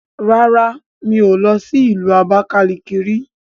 Rárá mí ò lọ sí ìlú Abakalaki ri